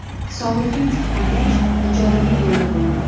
Sog‘ligim tiklangach, ijodimni yo‘lga qo‘yaman.